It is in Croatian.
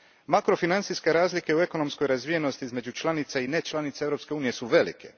Makrofinancijske razlike u ekonomskoj razvijenosti između članica i nečlanica Europske unije su velike.